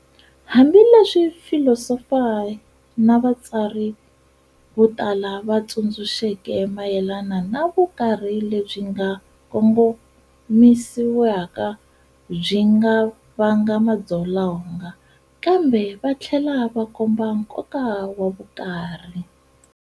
Hambileswi va filisofa na vatsari votala va tsundzuxeke mayelana na vukarhi lebyi nga kongomisiwika byi nga vanga madzolonga, kambe vathlela va komba nkoka wa vukarhi.